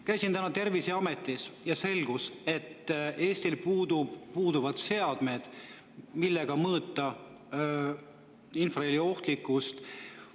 Käisin täna Terviseametis ja selgus, et Eestil puuduvad seadmed, millega mõõta infraheli ohtlikkust.